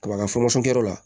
Kaba ka